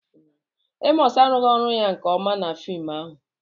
Emọs arụghị ọrụ ya nke ọma na fim ahụ.